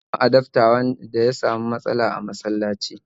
Mun samu adafta da ya samu matsala a masalaci